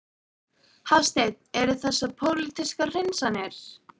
Hafsteinn: Eru þessar pólitískar hreinsanir?